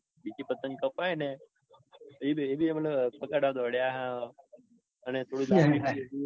બીજી પતંગ કપાઈને એ બેઈ બે મતલબ પકડવા દોડ્યા હ અને થોડી